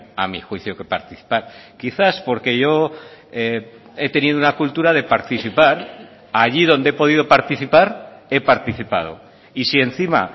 a mi juicio que participar quizás porque yo he tenido una cultura de participar allí donde he podido participar he participado y si encima